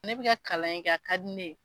Ne bi ka kalan in kɛ a ka di ne ye